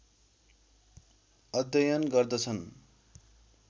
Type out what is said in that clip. अध्यन गर्दछन्